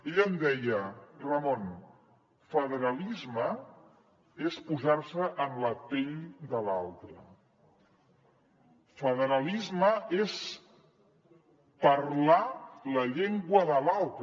ell em deia ramon federalisme és posar se en la pell de l’altre federalisme és parlar la llengua de l’altre